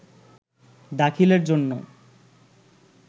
দাখিলের জন্য